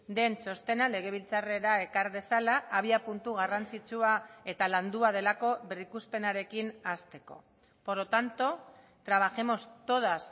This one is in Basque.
den txostena legebiltzarrera ekar dezala abiapuntu garrantzitsua eta landua delako berrikuspenarekin hasteko por lo tanto trabajemos todas